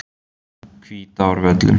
Hvítárvöllum